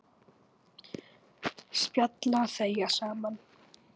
Spjalla og þegja saman.